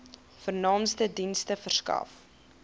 vernaamste dienste verskaf